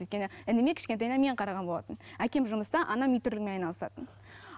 өйткені ініме кішкентайынан мен қараған болатынмын әкем жұмыста анам үй тірлігімен айналысатын